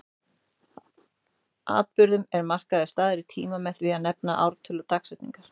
Atburðum er markaður staður í tíma með því að nefna ártöl og dagsetningar.